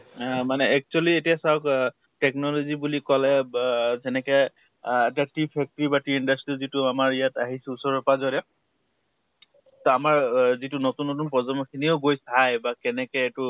আ মানে actually, এতিয়া চাওঁক technology বুলি কʼলে বা যেনেকে আ এটা tube factory, tube industry যিটো আমাৰ ইয়াত আহিছে, ওচৰে পাজৰে । তা আমাৰ আ যিতো নতুন নতুন প্ৰজন্ম খিনিও গৈ চাই বা কেনেকে এইটো